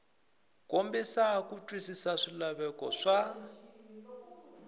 kombisa ku twisisa swilaveko swa